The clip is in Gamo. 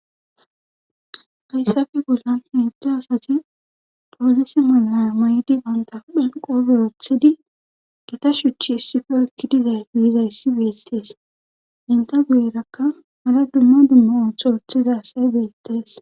hayssafe bollan hento asati poolise mala mayo mayidi banta huphen qobe wothidi gita shuchi issife oykki dizay yizayssi beettees henta guyerakka hara dumma dumma ooso ooththida asay beettees.